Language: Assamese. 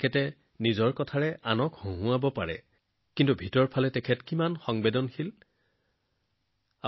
কিন্তু তেওঁ নিজৰ মাজত কিমান সংবেদনশীলতা জীয়াই ৰাখিছিল সেয়া ভাই জগদীশ ত্ৰিবেদীজীৰ জীৱনৰ পৰাই স্পষ্ট হৈ পৰিছে